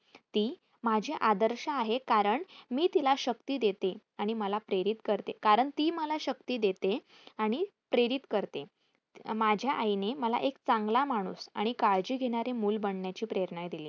ती माझे आदर्श आहे कारण मी तिला शक्ती देते आणि मला प्रेरित करते कारण ती मला शक्ती देते आणि प्रेरित करते. माझ्या आईने मला एक चांगला माणूस आणि काळजी घेणारे मूल बनण्याची प्रेरणा दिली.